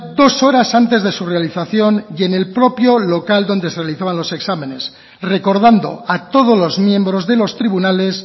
dos horas antes de su realización y en el propio local donde se realizaban los exámenes recordando a todos los miembros de los tribunales